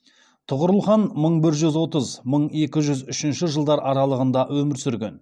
тұғырыл хан мың бір жүз отыз мың екі жүз үшінші жылдар аралығында өмір сүрген